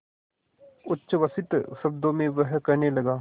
उच्छ्वसित शब्दों में वह कहने लगा